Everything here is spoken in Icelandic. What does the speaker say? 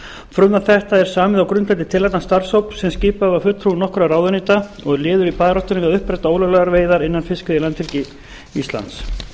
frumvarp þetta er samið á grundvelli tillagna starfshóps sem skipaður var fulltrúum nokkurra ráðuneyta og er liður í baráttunni við að uppræta ólöglegar fiskveiðar innan fiskveiðilandhelgi íslands